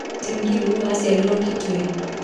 Charity Ngilu aciarĩirwo Kitui